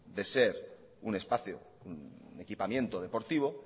de ser un espacio de equipamiento deportivo